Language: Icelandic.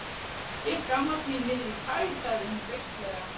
Ég skammast mín niðrí tær, sagði hún beisklega.